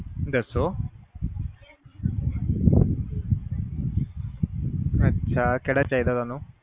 ਦੱਸੋ ਅੱਛਾ ਕਿਹੜਾ ਚਾਹੀਦਾ ਤੁਹਾਨੂੰ